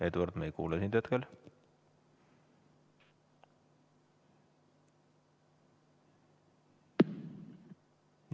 Eduard, me ei kuule sind hetkel.